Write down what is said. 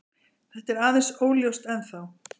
Þetta er aðeins óljóst ennþá.